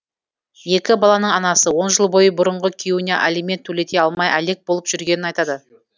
екі баланың анасы он жыл бойы бұрынғы күйеуіне алимент төлете алмай әлек болып жүргенін айтады